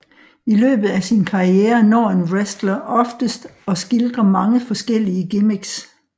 I løbet af sin karriere når en wrestler oftes at skildre mange forskellige gimmicks